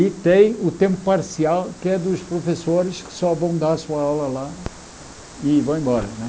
E tem o tempo parcial, que é dos professores que só vão dar a sua aula lá e vão embora, né?